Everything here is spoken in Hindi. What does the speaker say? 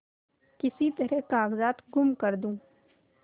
किसी तरह कागजात गुम कर दूँ